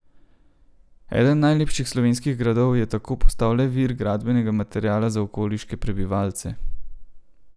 Eden najlepših slovenskih gradov je tako postal le vir gradbenega materiala za okoliške prebivalce!